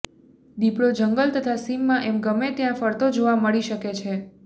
દિપડો જંગલ તથા સીમમાં એમ ગમે ત્યાં ફરતો જોવા મળી શકે છે